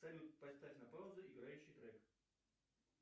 салют поставь на паузу играющий трек